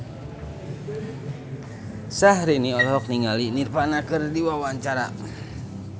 Syahrini olohok ningali Nirvana keur diwawancara